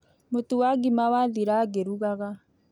Mũtu wa ngima wathira ngĩrugaga